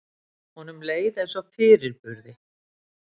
Honum leið eins og fyrirburði.